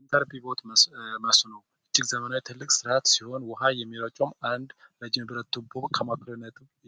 የኢንተርፒቮች መስኖ እጅግ ዘመናዊ መስኖ ሲሆን ውሃ የሚረጨው 1 ቱቦ